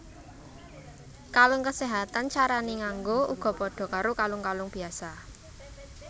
Kalung kaséhatan carané nganggo uga padha karo kalung kalung biyasa